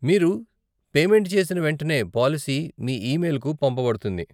మీరు పేమెంట్ చేసిన వెంటనే, పాలసీ మీ ఇమెయిల్కు పంపబడుతుంది.